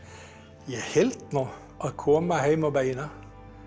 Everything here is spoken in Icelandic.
ég held nú að koma heim á bæina